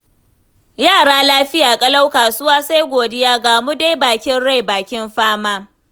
Yara lafiya ƙalau, kasuwa sai godiya, ga mu dai bakin rai bakin fama.